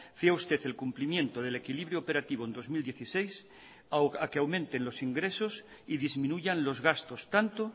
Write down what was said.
fía usted el cumplimiento del equilibrio operativo en dos mil dieciséis a que aumenten los ingresos y disminuyan los gastos tanto